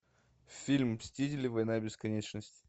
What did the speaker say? фильм мстители война бесконечности